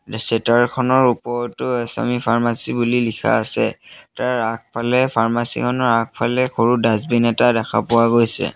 চেতাৰ খনৰ ওপৰতো আচামি ফাৰ্মাচী বুলি লিখা আছে তাৰ আগফালে ফাৰ্মাচী খনৰ আগফালে সৰু ডাজবিন এটা দেখা পোৱা গৈছে।